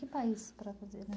país